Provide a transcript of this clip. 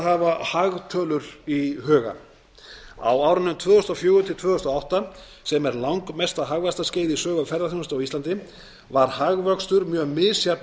hafa hagtölur í huga á árunum tvö þúsund og fjögur til tvö þúsund og átta sem er langmesta hagvaxtarskeið í sögu ferðaþjónustu á íslandi var hagvöxtur mjög misjafn